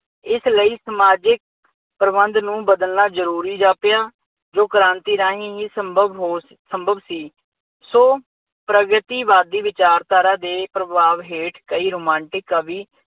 ਇਸ ਲਈ ਸਮਾਜਿਕ ਪ੍ਰਬੰਧ ਨੂੰ ਬਦਲਣਾ ਜ਼ਰੂਰੀ ਜਾਪਿਆ। ਜੋ ਕ੍ਰਾਂਤੀ ਰਾਹੀਂ ਹੀ ਸੰਭਵ ਹੋ ਸੰਭਵ ਸੀ। ਸੋ ਪ੍ਰਗਤੀਵਾਦੀ ਵਿਚਾਰਧਾਰਾ ਦੇ ਪ੍ਰਭਾਵ ਹੇਠ ਕਈ ਰੁਮਾਂਟਿਕ ਕਵੀ